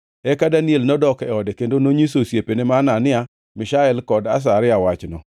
Eka Daniel nodok e ode kendo nonyiso osiepene ma Hanania, Mishael kod Azaria wachno.